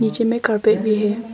नीचे में कारपेट भी है।